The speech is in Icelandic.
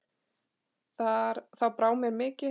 Þá brá mér mikið